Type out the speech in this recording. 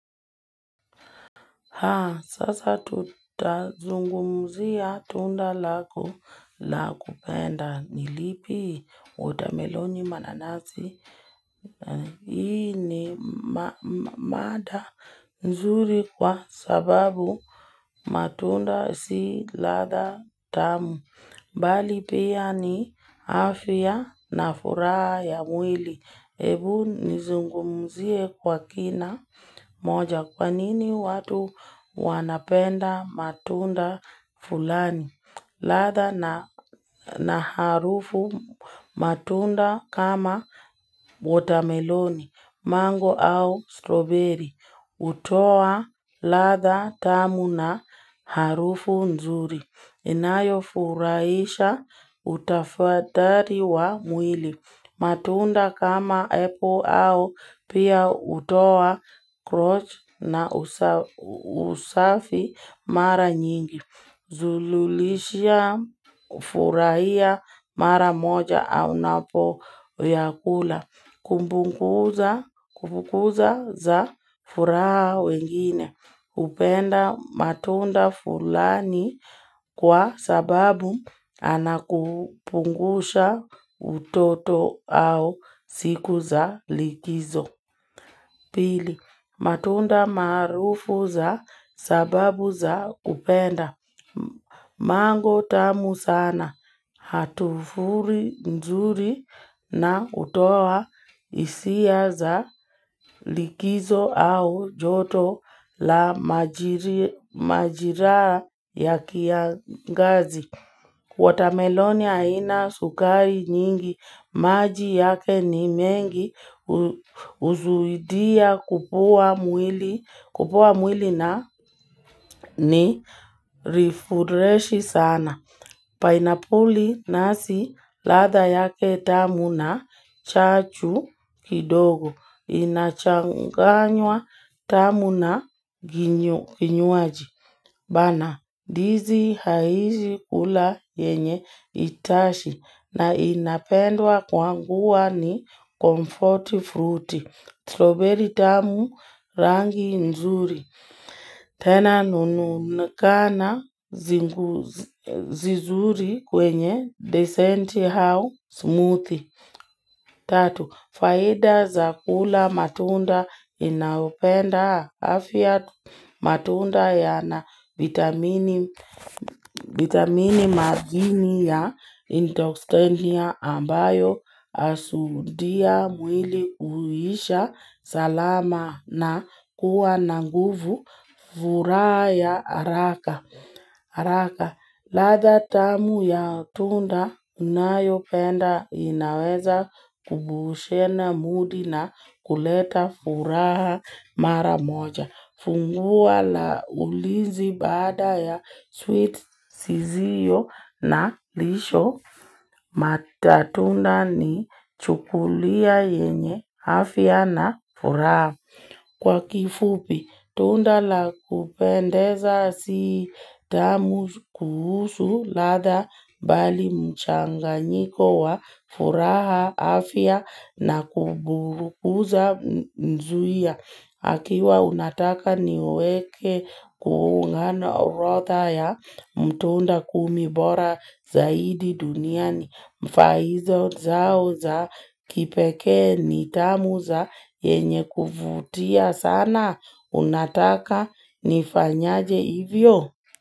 Ha, sasa tutazungumzia tunda lako la kupenda nilipi watermeloni mananasi. Hii ni mada nzuri kwa sababu matunda si latha tamu. Mbali pia ni afya na furaha ya mwili. Ebu nizungumzie kwa kina moja kwa nini watu wanapenda matunda fulani. Latha na harufu matunda kama watermeloni, mango au strawberry. Hutoa latha tamu na harufu nzuri. Inayo furahisha utafathari wa mwili. Matunda kama apple au pia hutoa crotch na usafi mara nyingi. Zululisha ufurahia mara moja au napo yakula. Kumpunguza za furaha wengine. Kupenda matunda fulani kwa sababu anakukumbusha utoto au siku za likizo. Pili, matunda marufu za sababu za kupenda, mango tamu sana, hatufuri nzuri na utoa hisia za likizo au joto la majira ya kiangazi. Watermeloni haina sukari nyingi, maji yake ni mengi, huzuilia kupuwa mwili na ni rifureshi sana. Painapuli nazi, latha yake tamu na chachu kidogo, inachanganywa tamu na vinywaji. Bana, dizi haishi kula yenye itashi na inapendwa kwa kuwa ni comfort fruit, strawberry tamu rangi nzuri. Tena nunukana vizuri kwenye decent how smooth. Tatu, faida za kula matunda inaopenda afya matunda yana vitamini vitamini madini ya endoxtendia ambayo husadia mwili kuisha salama na kuwa na nguvu furaha ya haraka. Araka, latha tamu ya tunda unayo penda inaweza kubushena mudi na kuleta furaha mara moja. Funguwa la ulizi bada ya sweet siziyo na lisho matatunda ni chukulia yenye afya na furaha. Kwa kifupi, tunda lakupendeza si tamu kuhusu latha mbali mchanganyiko wa furaha afya na kububukuza nzuia. Akiwa unataka niweke kuungano orotha ya mtuunda kumi bora zaidi duniani mfaizo zao za kipeke nitamu za yenye kuvutia sana unataka ni fanyaje hivyo.